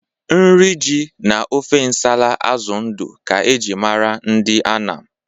Nri ji na ofe nsala azụ ndụ ka e ji mara ndị Anam.